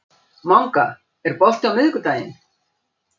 Manga, er bolti á miðvikudaginn?